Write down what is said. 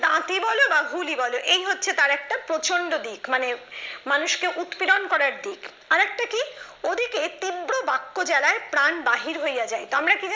দাঁতই বল বা হুলই বল এই হচ্ছে তার একটা প্রচন্ড দিক মানে মানুষকে উৎপীড়ন করার দিক। আরেকটা কি ওদিকে তীব্র বাক্য জ্বালায় প্রাণ বাহির হইয়া যাইত। আমরা কী জানি